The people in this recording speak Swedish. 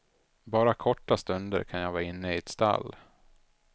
Bara korta stunder kan jag vara inne i ett stall.